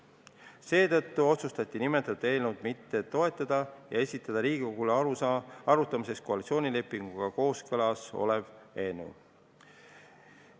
Seetõttu otsustati eelnõu mitte toetada ja esitada Riigikogule arutamiseks koalitsioonilepinguga kooskõlas olev eelnõu.